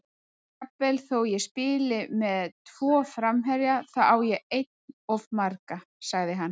Jafnvel þó ég spili með tvo framherja, þá á ég enn of marga, sagði hann.